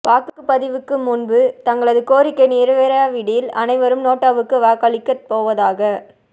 வாக்குபதிவுக்கு முன்பு தங்களது கோரிக்கை நிறைவேறாவிடில் அனைவரும் நோட்டாவுக்கு வாக்களிக்கப் போவதாக